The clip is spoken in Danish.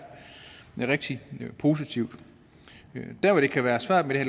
rigtig positivt der hvor det kan være svært med det